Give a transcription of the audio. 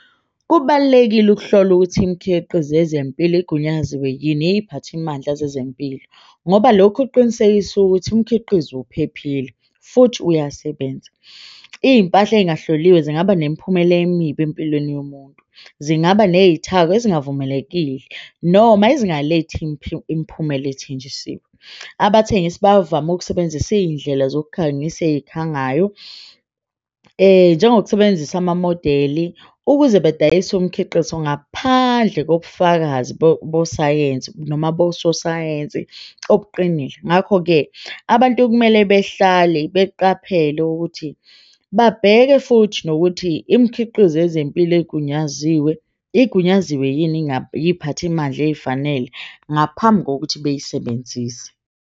Kubalulekile ukuhlola ukuthi imikhiqizo yezempilo igunyaziwe yini iziphathimandla zezempilo ngoba lokhu kuqinisekisa ukuthi umkhiqizo uphephile futhi uyasebenza. Iyimpahla engahloliwe zingaba nemiphumela emibi empilweni yomuntu, zingaba neyithako futhi esingavumelekile noma ezingalethi imiphumela ethenjisiwe. Abathengisa bavame ukusebenzisa iyindlela zokukhangisa eyikhula ngayo njengokusebenzisa amamodeli, ukuze badayise umkhiqizo ngaphandle kobufakazi besayensi noma nososayensi obuqinile. Ngakho-ke abantu okumele behlale beqaphele ukuthi babheke futhi nokuthi imikhiqizo yezempilo igunyaziwe, igunyaziwe yini iziphathimandla eyifanele ngaphambi kokuthi beyisebenzise.